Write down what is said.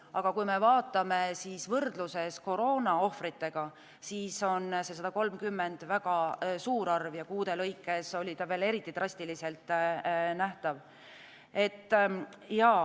Aga kui me vaatame võrdluses koroonaohvritega, siis on 130 väga suur arv ja kuude lõikes on see veel eriti drastiliselt nähtav.